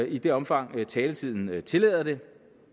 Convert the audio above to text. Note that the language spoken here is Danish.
i det omfang taletiden tillader det